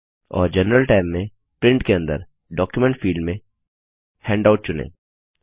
और general tab में print के अंदर डॉक्यूमेंट फिल्ड में हैंडआउट चुनें